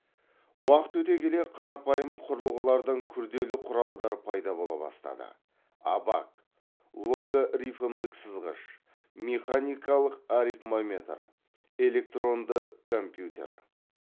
уақыт өте келе қарапайым құрылғылардан күрделі құралдар пайда бола бастады абак логарифмдік сызғыш механикалық арифмометр электронды компьютер